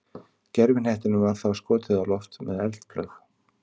Gervihnettinum var þá skotið á loft með eldflaug.